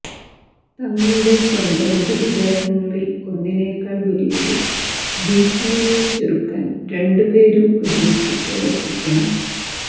തങ്ങളുടെ സ്വന്തം മൃതദേഹങ്ങളിൽ ഒന്നിനേക്കാൾ വലിയൊരു ഭീഷണിയെ ചെറുക്കാൻ രണ്ടുപേരും ഒരുമിച്ചു പ്രവർത്തിക്കണം